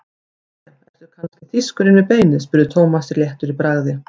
Jæja, ertu kannski þýskur inni við beinið? spurði Thomas léttur í bragði.